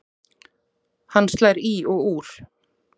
Hann slær í og úr.